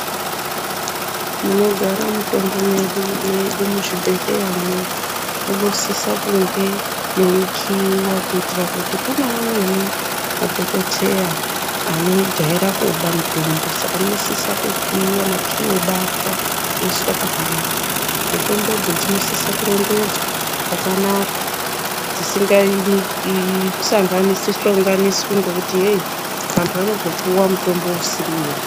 Munogara mitombo yedu mwedu muzvibhedhleya mwo munosisa kunge mweikiiwa kuitira kune amweni madhokodheya anojaira kuba mutombo. Saka munosisa kukiiwa makii obatwa oiswe pakanaka. Mutombodzo dzinosise kurongedzwa zvakanaka dzisingahlonganiswi hlonganiswi ngekuti heyi vantu vanozopuwa mutombo usiriwo.